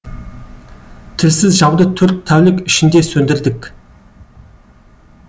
тілсіз жауды төрт тәулік ішінде сөндірдік